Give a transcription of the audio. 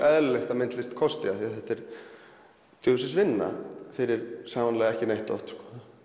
eðlilegt að myndlist kosti því þetta er djöfulsins vinna fyrir sannarlega ekki neitt oft